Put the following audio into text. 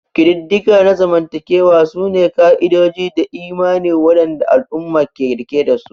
Ƙididdiga na zamantakewa sune ka'idoji da imani waɗanda al'umma ke riƙe dasu.